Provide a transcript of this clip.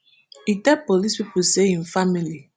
e tell police pipo say im family